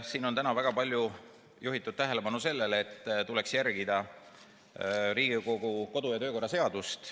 Siin on täna väga palju juhitud tähelepanu sellele, et tuleks järgida Riigikogu kodu‑ ja töökorra seadust.